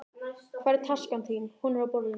Hvar er taskan þín? Hún er á borðinu.